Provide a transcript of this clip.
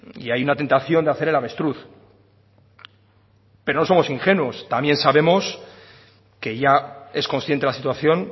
y hay una tentación de hacer el avestruz pero no somos ingenuos también sabemos que ya es consciente la situación